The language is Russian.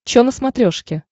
че на смотрешке